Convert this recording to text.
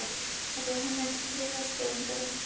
Þetta var hennar griðastaður ef hún gat ekki sofið.